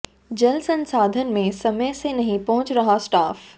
जल संसाधन में समय से नहीं पहुंच रहा स्टाफ